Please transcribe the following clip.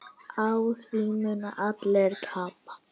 Á því munu allir tapa.